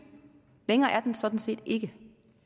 længere er den sådan set ikke